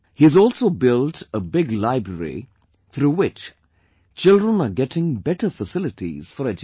He has also built a big library, through which children are getting better facilities for education